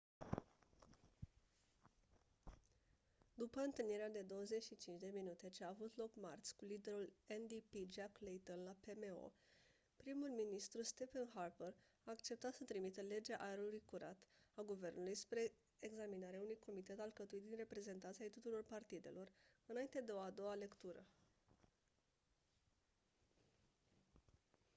după întâlnirea de 25 minute ce a avut loc marți cu liderul ndp jack layton la pmo primul ministru stephen harper a acceptat să trimită legea aerului curat a guvernului spre examinare unui comitet alcătuit din reprezentanți ai tuturor partidelor înainte de o a doua lectură